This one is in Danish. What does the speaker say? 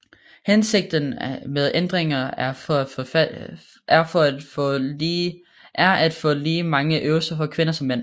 Hensigten med ændringerne er at få lige mange øvelser for kvinder som mænd